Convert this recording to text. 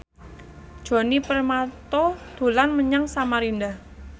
Djoni Permato dolan menyang Samarinda